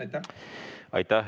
Aitäh!